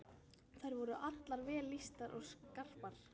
Þær voru allar vel lýstar og skarpar.